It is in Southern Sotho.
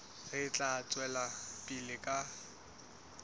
re tla tswela pele ka